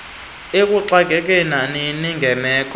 lokuxakeka nanini nangemeko